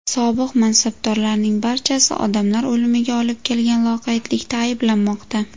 Sobiq mansabdorlarning barchasi odamlar o‘limiga olib kelgan loqaydlikda ayblanmoqda.